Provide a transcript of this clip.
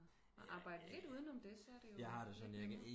At arbejde lidt uden om det så er det jo lidt nemmere